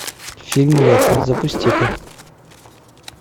фильм лето запусти ка